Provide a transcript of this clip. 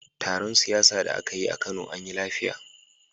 Taron siyasa da aka yi a Kano anyi lafiya.